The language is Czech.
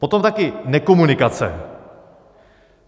Potom také nekomunikace.